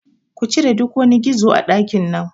Kucire duk wani gizo a ɗakin nan